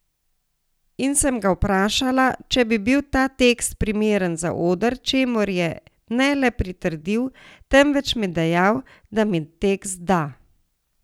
In sem ga vprašala, če bi bil ta tekst primeren za oder, čemur je ne le pritrdil, temveč mi dejal, da mi tekst da.